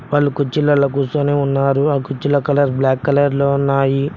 వాళ్ళు కుర్చీలల్లో కూసోని ఉన్నారు ఆ కుర్చీల కలర్ బ్లాక్ కలర్ లో ఉన్నాయి.